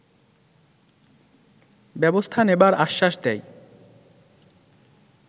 ব্যবস্থা নেবার আশ্বাস দেয়